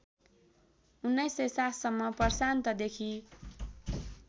१९०७ सम्म प्रशान्तदेखि